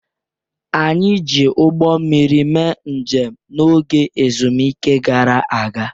Anyị ji ụgbọ mmiri mee njem n'oge ezumike gara aga.